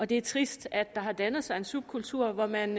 det er trist at der har dannet sig en subkultur hvor man